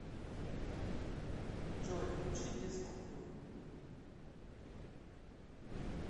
джой включи без купюр